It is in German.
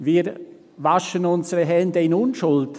«Wir waschen unsere Hände in Unschuld.